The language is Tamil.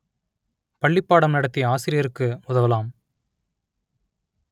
பள்ளிப் பாடம் நடத்திய ஆசிரியருக்கு உதவலாம்